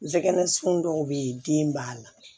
Zɛgɛn sin dɔw be yen den b'a la